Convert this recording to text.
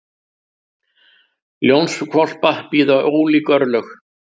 Ljónshvolpa bíða ólík örlög.